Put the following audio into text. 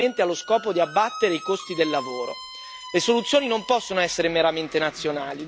Una chiusura decisa dalla multinazionale brasiliana esclusivamente allo scopo di abbattere i costi del lavoro.